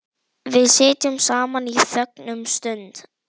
Við sitjum saman í þögn um stund.